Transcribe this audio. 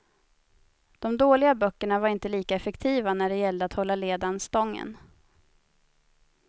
De dåliga böckerna var inte lika effektiva när det gällde att hålla ledan stången.